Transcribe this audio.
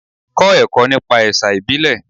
Kọ́ ẹ̀kọ́ nípa ẹ̀sà ìbílẹ̀.